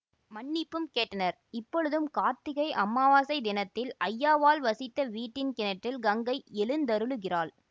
மன்னிப்பும் கேட்டனர் இப்பொழுதும் கார்த்திகை அமாவசை தினத்தில் ஐயாவாள் வசித்த வீட்டின் கிணற்றில் கங்கை எழுந்தருளுகிறாள்